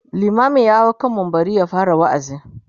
limamin ya hau kan mumbari ya fara waazi